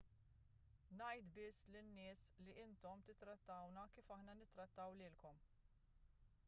ngħid biss lin-nies li intom tittrattawna kif aħna nittrattaw lilkom